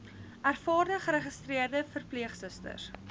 ervare geregistreerde verpleegsusters